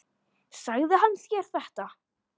Sagði hann þér þetta?